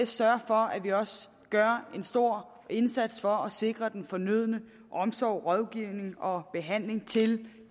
sørge for at gøre en stor indsats for at sikre den fornødne omsorg rådgivning og behandling til